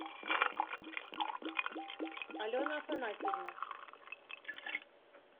алена афанасьевна